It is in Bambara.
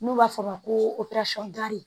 N'u b'a fɔ o ma ko